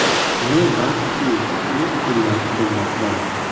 Ne baxtki, iliq kunlar kutilmoqda.